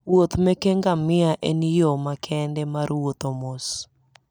Wuoth meke ngamia en yo makende mar wuotho mos.